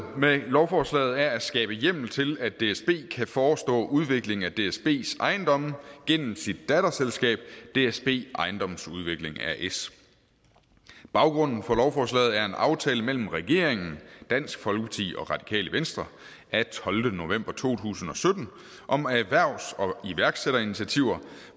med lovforslaget er at skabe hjemmel til at dsb kan forestå udviklingen af dsbs ejendomme gennem sit datterselskab dsb ejendomsudvikling as baggrunden for lovforslaget er en aftale mellem regeringen dansk folkeparti og radikale venstre af tolvte november to tusind og sytten om erhvervs og iværksætterinitiativer